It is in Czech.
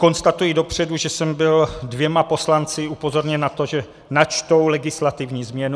Konstatuji dopředu, že jsem byl dvěma poslanci upozorněn na to, že načtou legislativní změnu.